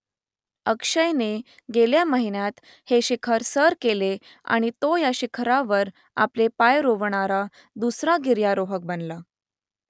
अक्षयने गेल्या महिन्यात हे शिखर सर केले आणि तो या शिखरावर आपले पाय रोवणारा दुसरा गिर्यारोहक बनला